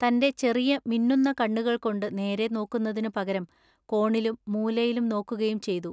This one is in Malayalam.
തന്റെ ചെറിയ മിന്നുന്ന കണ്ണുകൾകൊണ്ടു നേരെ നോക്കുന്നതിനു പകരം കോണിലും മൂലയിലും നോക്കുകയും ചെയ്തു.